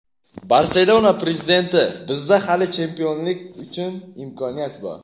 "Barselona" prezidenti: "Bizda hali chempionlik uchun imkoniyat bor";.